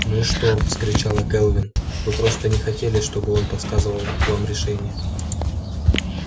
ну и что вскричала кэлвин вы просто не хотели чтобы он подсказывал вам решение